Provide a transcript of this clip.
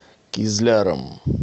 кизляром